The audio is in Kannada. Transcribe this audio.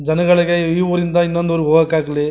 ಜನಗಳಿಗೆ ಈ ಊರಿನಿಂದ ಇನ್ನೊಂದ್ ಊರಿಗೆ ಹೋಗೋಕ್ ಆಗ್ಲ-